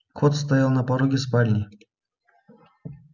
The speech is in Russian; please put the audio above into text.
кот стоял на пороге спальни